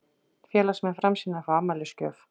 Félagsmenn Framsýnar fá afmælisgjöf